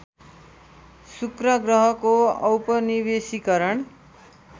शुक्र ग्रहको औपनिवेशीकरण